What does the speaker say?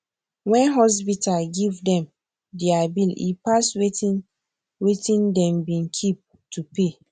wen hospita give dem deir bill e pass wetin wetin dem be keep to pay